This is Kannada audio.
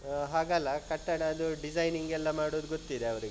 ಹಾ ಹಾಗಲ್ಲ, ಕಟ್ಟಡದು designing ಎಲ್ಲ ಮಾಡೋದು ಗೊತ್ತಿದೆ ಅವ್ರಿಗೆ.